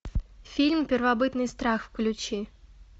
фильм первобытный страх включи